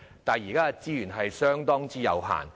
但是，現時資源相當有限。